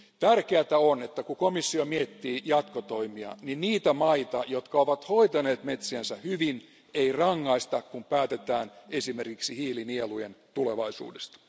Tärkeätä on, että kun komissio miettii jatkotoimia, niin niitä maita, jotka ovat hoitaneet metsänsä hyvin, ei rangaista, kun päätetään esimerkiksi hiilinielujen tulevaisuudesta.